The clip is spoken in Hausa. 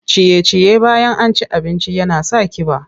Ciye-ciye bayan an ci abinci yana sa ƙiba.